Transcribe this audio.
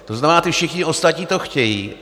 To znamená, ti všichni ostatní to chtějí.